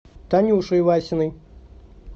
танюшей васиной